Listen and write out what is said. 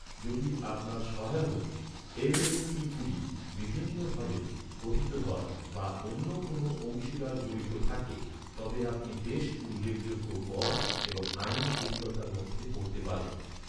যদি আপনার সহায়ক এল.এল.সি.গুলি ভিন্ন ভাবে গঠিত হয় বা অন্য কোনও অংশীদার জড়িত থাকে, তবে আপনি বেশ উল্লেখযোগ্য কর এবং আইনি জটিলতার মধ্যে পড়তে পারেন।